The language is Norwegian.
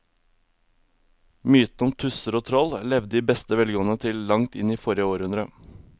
Mytene om tusser og troll levde i beste velgående til langt inn i forrige århundre.